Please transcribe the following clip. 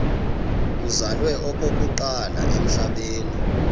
uzalwa okokuqala emhlabeni